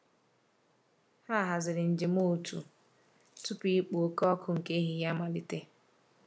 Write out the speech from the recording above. Ha haziri njem otu tupu ikpo oke ọkụ nke ehihie amalite.